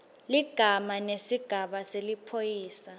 ligama nesigaba seliphoyisa